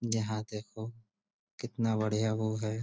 जहाँ देखो कितना बढ़िया वो है।